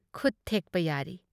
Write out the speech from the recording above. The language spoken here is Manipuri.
ꯈꯨꯠ ꯊꯦꯛꯄ ꯌꯥꯔꯤ꯫